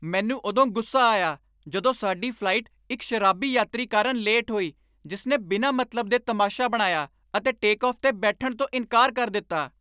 ਮੈਨੂੰ ਉਦੋਂ ਗੁੱਸਾ ਆਇਆ ਜਦੋਂ ਸਾਡੀ ਫਲਾਈਟ ਇੱਕ ਸ਼ਰਾਬੀ ਯਾਤਰੀ ਕਾਰਨ ਲੇਟ ਹੋਈ ਜਿਸਨੇ ਬਿਨਾਂ ਮਤਲਬ ਦੇ ਤਮਾਸ਼ਾ ਬਣਾਇਆ ਅਤੇ ਟੇਕਆਫ ਤੇ ਬੈਠਣ ਤੋਂ ਇਨਕਾਰ ਕਰ ਦਿੱਤਾ।